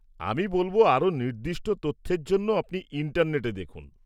-আমি বলব, আরও নির্দিষ্ট তথ্যের জন্য আপনি ইন্টারনেটে দেখুন।